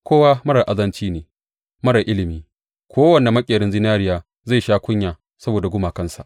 Kowa marar azanci ne, marar ilimi; kowane maƙerin zinariya zai sha kunya saboda gumakansa.